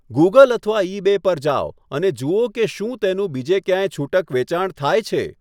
Google અથવા eBay પર જાઓ અને જુઓ કે શું તેનું બીજે ક્યાંય છૂટક વેચાણ થાય છે.